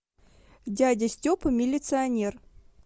дядя степа милиционер